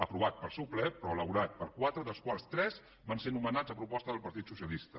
aprovat pel seu ple però elaborat per quatre vocals dels quals tres van ser nomenats a proposta del partit socialista